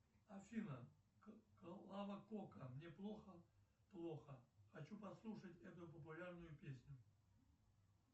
афина клава кока мне плохо плохо хочу послушать эту популярную песню